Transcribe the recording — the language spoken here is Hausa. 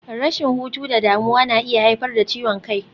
Rashin hutu da damuwa na iya haifar da ciwon kai.